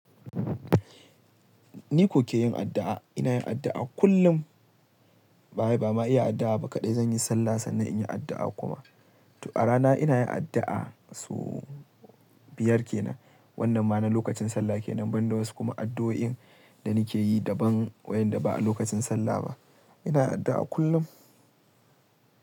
Ni kuke yin addu'a? Ina yin addu'a kullum. Ba ba ma yin addu'a ba kaɗai, zan yi sallah sannan in yi addu'a kuma. To a rana ina yin addu'a su biyar ke nan. Wannan ma na lokacin sallah ke nan, ban da wasu kuma addu'o'in da nake yi daban wayanda ba a lokacin sallah ba. Ina addu'a kullum.